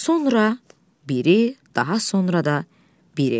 Sonra biri, daha sonra da biri.